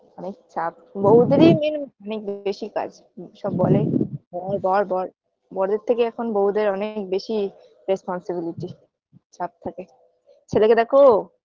অনেক চাপ বউদেরই main main বেশি কাজ সব বলে হ্যাঁ বর বর বরের থেকে এখন বেশি বউদের অনেক বেশি responsibility চাপ থাকে ছেলেকে দেখো